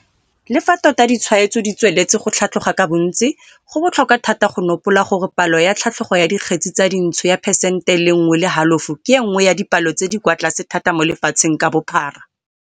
Le fa tota ditshwaetso ditsweletse go tlhatloga ka bontsi, go botlhokwa thata go nopola gore palo ya tlhatlogo ya dikgetse tsa dintsho ya phesente e le nngwe le halofo ke e nngwe ya dipalo tse di kwa tlase thata mo lefatsheng ka bophara.